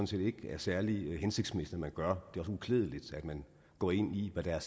set ikke er særlig hensigtsmæssigt at gøre det uklædeligt at man går ind i hvad der er